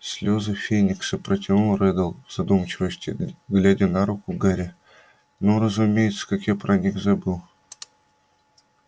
слёзы феникса протянул реддл в задумчивости глядя на руку гарри ну разумеется как я про них забыл